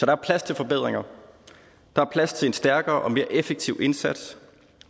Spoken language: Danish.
er plads til forbedringer der er plads til en stærkere og mere effektiv indsats